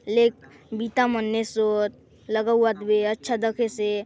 लेक बिता मन्ने सोद लगाउआत दे अच्छा दखे से --